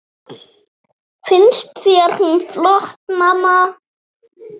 Finnst þér hún flott, mamma?